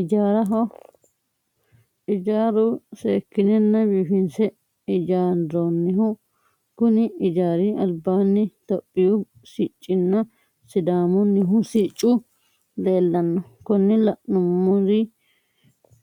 Ijaaraho ijaaru seeki'nena biifi'nse ijaarooniho kuni ijaari alibanni toohiyuu siccinna sidaamunihu siccu leelanno konini la'numiro